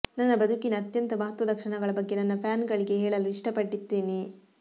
ನನ್ನ ಬದುಕಿನ ಅತ್ಯಂತ ಮಹತ್ವದ ಕ್ಷಣಗಳ ಬಗ್ಗೆ ನನ್ನ ಫ್ಯಾನ್ ಗಳಿಗೆ ಹೇಳಲು ಇಷ್ಟ ಪಡ್ತೀನಿ